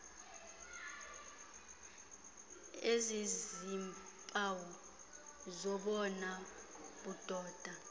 eziziiimpawu zobona budoda